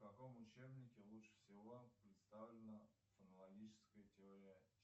в каком учебнике лучше всего представлена фонологическая теория